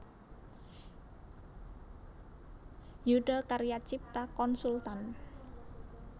Yudha Karya Cipta Konsultan